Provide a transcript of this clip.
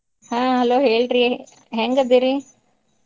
ಹಾ hello ಹೇಳ್ರಿ ಹೆಂಗ್ ಅದಿರೀ? .